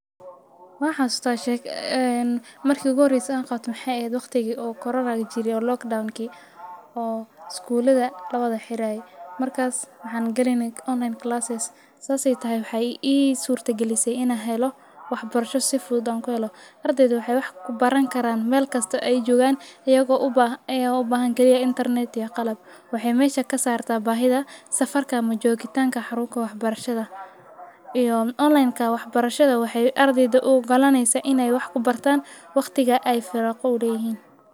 Waan xasuustaa,,een marki ugu horeysa aan qabtay maxaay eheed waqtigi coronaga jiray oo lockdownki iskulada lawada xiraaye markaas waxaan galeyne online classes saas aay tahay waxaa i surta galisey inaan helo wax barasho si fudud aan kuhelo. Ardayda waxaay wax kubaran karaan ayakoo melkasta aay joogaan iyagoo ubaahan Internet iyo qalab. Waxaay mesha kasaarta safarka ama joogitaanka xarunka wax barashada iyo onlinka wax barashada waxaay ardayda u ogalaaneysaa inaay wax kubartaan waqtiga aay firaaqa uleeyihin.